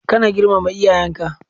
Kana girmama iyayenka.